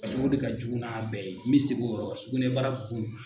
Paseke o de ka jugu n'a bɛɛ ye n bɛ segin o yɔrɔ kan sugunɛbara bon